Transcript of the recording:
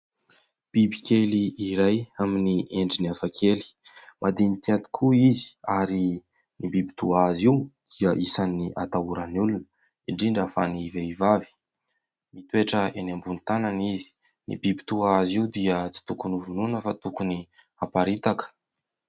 Bibikely iray amin'ny endriny hafakely, madinika tokoa izy ; ary ny biby toa azy io dia isan'ny atahoran'ny olona indrindra fa ny vehivavy. Mitoetra eny ambony tanana izy. Ny biby toa azy io dia tsy tokony vonoina fa tokony amparitaka.